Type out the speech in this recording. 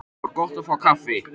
Það var gott að fá kaffi.